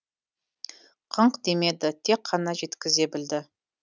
қыңқ демеді тек қана жеткізе білді